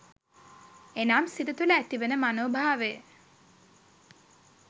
එනම් සිත තුළ ඇතිවන මනෝ භාවය